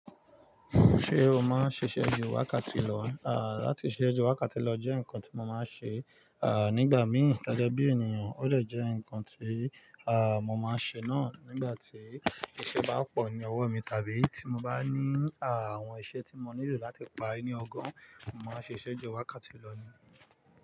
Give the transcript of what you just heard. Ṣé o máa ń ṣiṣẹ́ ju wákàtí lọ? À, láti ṣiṣẹ́ ju wákàtí lọ jẹ́ nǹkan tí mo máa ń ṣe. À, nígbà mìí gege bí ènìyàn, ó dè jẹ́ nǹkan tí, à, mo máa ń ṣe náà nígbà tí iṣẹ́ bá pọ̀ ní ọwọ́ mi tàbí tí mo bá ní, à, àwọn iṣẹ́ tí mo nílò láti parí ní ọgọ́run. Mo máa ń ṣiṣẹ́ ju wákàtí lọ ni.